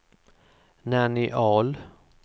Nanny Ahl